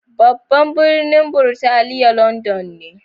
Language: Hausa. Babban birnin Burtaniya London ne.